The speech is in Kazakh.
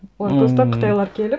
олар просто қытайлар келіп